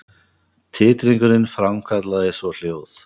Titringurinn framkallaði svo hljóð.